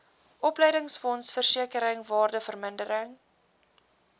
opleidingsfonds versekering waardevermindering